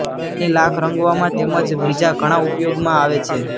એની લાખ રંગવામાં તેમ જ બીજા ઘણા ઉપયોગમાં આવે છે